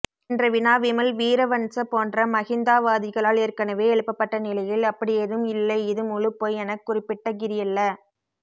என்ற வினா விமல் வீரவன்ச போன்ற மஹிந்தாவாதிகளால் ஏற்கனவே எழுப்பப்பட்ட நிலையில் அப்படியேதும் இல்லை இது முழுப்பொய் எனக்குறிப்பிட்டகிரியல்ல